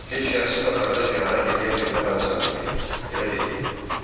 Heç şəxsi qatarda səyahət eləyən birinə bənzəmirdi, elə deyil?